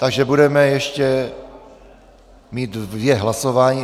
Takže budeme mít ještě dvě hlasování.